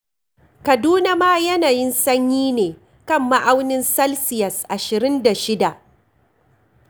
Kaduna ma yanayin sanyi ne kan ma'aunin salsiyas ashirin da shida.